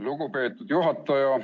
Lugupeetud juhataja!